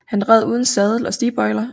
Han red uden sadel og stigbøjler